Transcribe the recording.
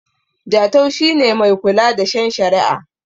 Jatau shi ne Mai kula da shen shari'a